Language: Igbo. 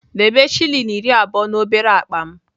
Debe shilling iri abụọ na obere akpa m!